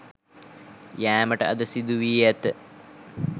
යෑමට අද සිදු වී ඇත.